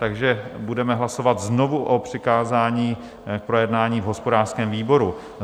Takže budeme hlasovat znovu o přikázání k projednání v hospodářském výboru.